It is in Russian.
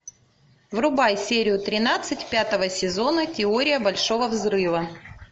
врубай серию тринадцать пятого сезона теория большого взрыва